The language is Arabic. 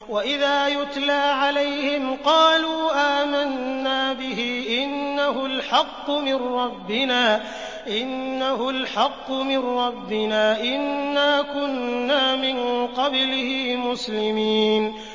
وَإِذَا يُتْلَىٰ عَلَيْهِمْ قَالُوا آمَنَّا بِهِ إِنَّهُ الْحَقُّ مِن رَّبِّنَا إِنَّا كُنَّا مِن قَبْلِهِ مُسْلِمِينَ